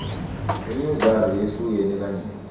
imidlalo yehlukene kanyenti